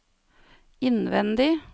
innvendig